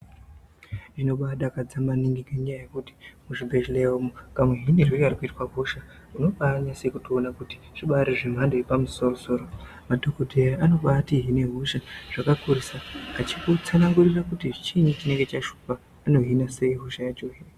Zvinobadakadza maningi ngekuti muzvibhedhlera umu kamuhinirwe karikuitwe hosha unobanatsokutoona kuti zvibari zvemhando yepamusorosoro soro madhokodheya anotobahine hosha yakakurisa eikutsanangurira kuti chiinyi chinenge chashupa kuti anohina sei hosha yacho .